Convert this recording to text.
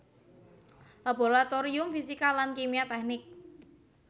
Laboratorium Fisika lan Kimia Teknik